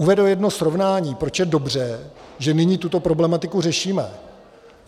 Uvedu jedno srovnání, proč je dobře, že nyní tuto problematiku řešíme.